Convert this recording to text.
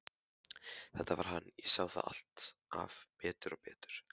Þetta var hann, ég sá það alltaf betur og betur.